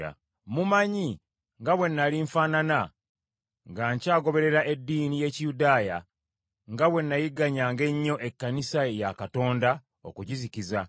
Mumanyi nga bwe nnali nfaanana nga nkyagoberera eddiini y’Ekiyudaaya, nga bwe nayigganyanga ennyo Ekkanisa ya Katonda okugizikiza,